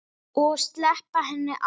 Og sleppa henni aldrei.